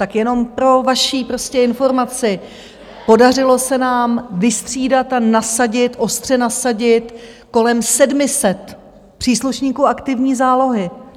Tak jenom pro vaši informaci, podařilo se nám vystřídat a nasadit, ostře nasadit, kolem 700 příslušníků aktivní zálohy.